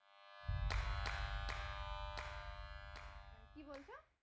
কি বলছো?